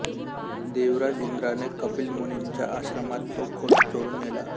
देवराज इंद्राने कपिल मुनींच्या आश्रमात तो घोडा चोरून नेला